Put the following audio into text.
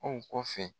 Aw kɔfɛ